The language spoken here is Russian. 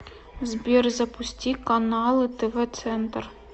сбер запусти каналы тв центр